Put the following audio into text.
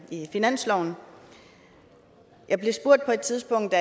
i finansloven jeg blev på et tidspunkt